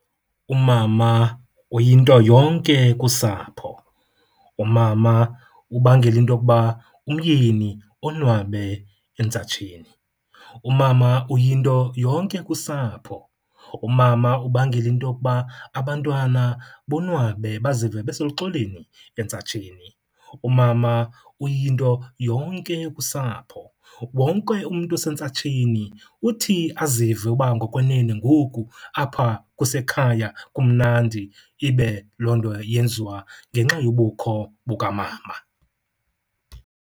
Umama uyinto yonke kusapho. Umama ubangela into yokuba umyeni onwabe entsatsheni. Umama uyinto yonke kusapho. Umama ubangela into yokuba abantwana bonwabe bazive beseluxolweni entsatsheni. Umama uyinto yonke kusapho. Wonke umntu osentsatsheni uthi azive uba ngokwenene ngoku apha kusekhaya kumnandi, ibe loo nto yenziwa ngenxa yobukho bukamama.